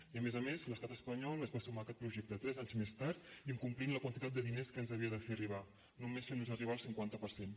i a més a més l’estat espanyol es va sumar a aquest projecte tres anys més tard incomplint la quantitat de diners que ens havia de fer arribar nomes fent nos arribar el cinquanta per cent